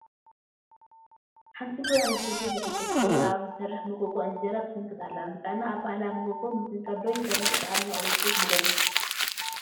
ሓንቲ ጓል ኣነስተይቲ ብዕንጨይቲ ኣብ ዝሰርሕ መጎጎ እንጀራ ትስንክት ኣላ፡፡ ንጥዕና ኣብ ባህላዊ መጎጎ ምስንካት ዶ ይበልፅስ ኣብ ናይ ኤለክትሪክ መጎጎ?